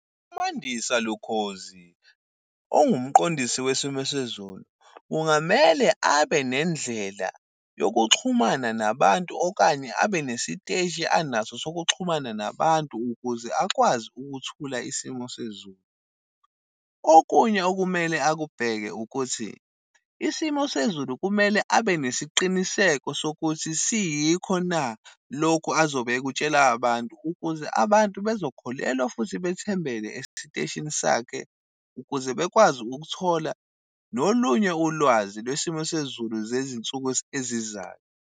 UMandisa Lukhozi ongumqondisi wesimo sezulu, kungamele abe nendlela yokuxhumana nabantu. Okanye abe nesiteshi anaso sokuxhumana nabantu ukuze akwazi ukuthula isimo sezulu. Okunye okumele akubheke ukuthi, isimo sezulu kumele abe nesiqiniseko sokuthi siyikho na lokhu azobe ekutshela abantu, ukuze abantu bezokholelwa futhi bethembeke esiteshini sakhe ukuze bekwazi ukuthola nolunye ulwazi lwesimo sezulu zezinsuku ezizayo.